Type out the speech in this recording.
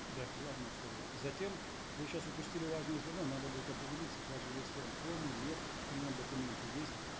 да главное условие затем вы сейчас упустили важное звено надо будет определиться даже если он в коме нет при нем документы есть